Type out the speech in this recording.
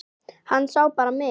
Hann sá bara mig!